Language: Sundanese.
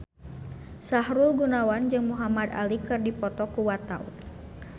Sahrul Gunawan jeung Muhamad Ali keur dipoto ku wartawan